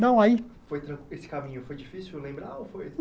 Não, aí... Foi tranqui esse caminho foi difícil lembrar ou foi